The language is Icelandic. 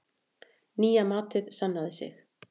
Nýja matið sannaði sig.